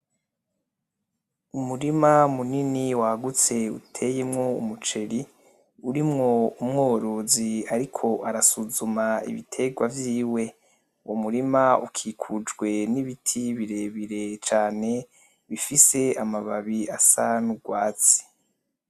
Umurima munini wagutse uteyemwo umuceri urimwo umworozi ariko arasusuzuma ibiterwa vyiwe, uwo murima ukikujwe n'ibiti birebire cane bifise amababi asa n'urwatsi.